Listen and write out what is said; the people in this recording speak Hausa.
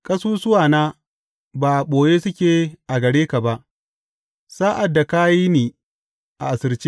Ƙasusuwana ba a ɓoye suke a gare ka ba sa’ad da aka yi ni asirce.